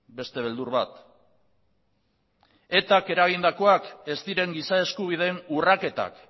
beste beldur bat eta k eragindakoak ez diren giza eskubideen urraketak